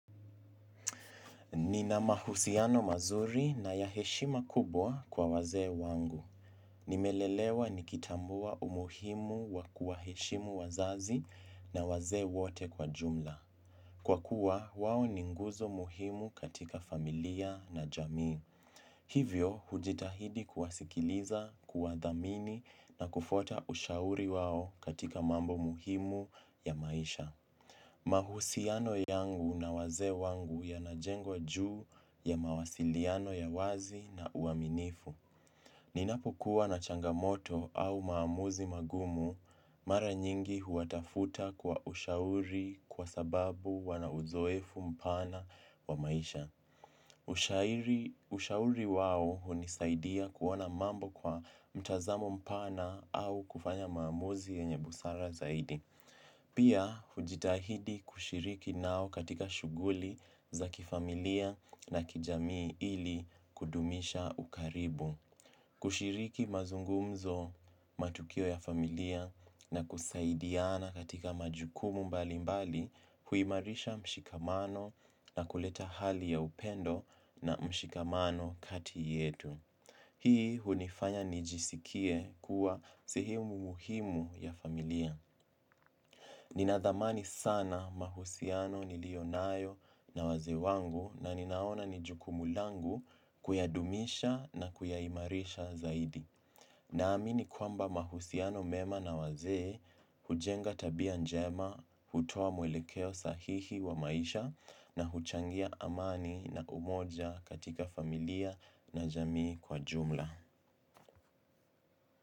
Nina mahusiano mazuri na ya heshima kubwa kwa wazee wangu. Nimelelewa nikitambua umuhimu wa kuwaheshimu wazazi na wazee wote kwa jumla. Kwa kuwa, wawo ninguzo muhimu katika familia na jamii. Hivyo, hujitahidi kuwasikiliza, kuwa dhamini na kufuata ushauri wawo katika mambo muhimu ya maisha. Mahusiano yangu na wazee wangu yanajengwa juu ya mawasiliano ya wazi na uaminifu. Ninapo kuwa na changamoto au maamuzi magumu mara nyingi huwatafuta kwa ushauri kwa sababu wana uzoefu mpana wa maisha. Ushauri wao hunisaidia kuona mambo kwa mtazamo mpana au kufanya maamuzi yenye busara zaidi. Pia hujitahidi kushiriki nao katika shuguli za kifamilia na kijamii ili kudumisha ukaribu. Kushiriki mazungumzo matukio ya familia na kusaidiana katika majukumu mbali mbali huimarisha mshikamano na kuleta hali ya upendo na mshikamano kati yetu. Hii hunifanya nijisikie kuwa sehemu muhimu ya familia. Nina dhamani sana mahusiano nilionayo na wazee wangu na ninaona nijukumu langu kuyadumisha na kuyaimarisha zaidi. Na amini kwamba mahusiano mema na wazee hujenga tabia njema, hutoa mwelekeo sahihi wa maisha na huchangia amani na umoja katika familia na jamii kwa jumla.